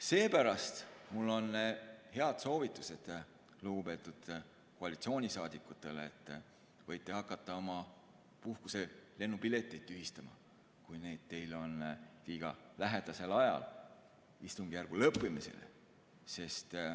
Seepärast on mul head soovitused lugupeetud koalitsioonisaadikutele: võite hakata oma puhkuse lennupileteid tühistama, kui teil on need liiga lähedal istungjärgu lõppemisele.